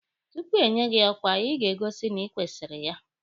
Tupu enye gị ọkwa, Ị ga-egosi na ịkwesịrị ya